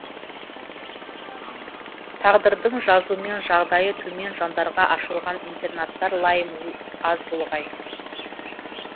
тағдырдың жазуымен жағдайы төмен жандарға ашылған интернаттар лайым аз болғай